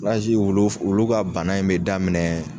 wulu wulu ka bana in bɛ daminɛ